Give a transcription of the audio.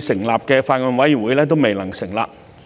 議成立的法案委員會未能成立。